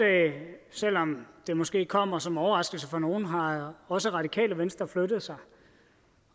selv om det måske kommer som en overraskelse for nogle har også radikale venstre flyttet sig